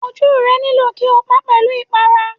Ojú rẹ nílò kí o pa pẹ̀lú ipara.